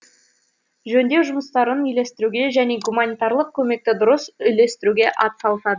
жөндеу жұмыстарын үйлестіруге және гуманитарлық көмекті дұрыс үлестіруге атсалысады